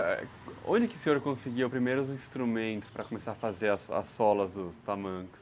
Onde que o senhor conseguiu os primeiros instrumentos para começar a fazer as solas dos tamancos?